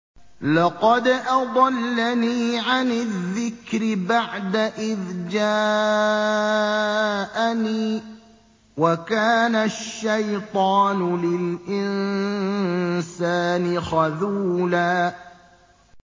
لَّقَدْ أَضَلَّنِي عَنِ الذِّكْرِ بَعْدَ إِذْ جَاءَنِي ۗ وَكَانَ الشَّيْطَانُ لِلْإِنسَانِ خَذُولًا